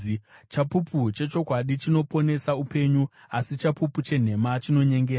Chapupu chechokwadi chinoponesa upenyu, asi chapupu chenhema chinonyengera.